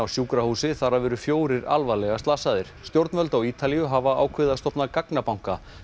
sjúkrahúsi þar af eru fjórir alvarlega slasaðir stjórnvöld á Ítalíu hafa ákveðið að stofna gagnabanka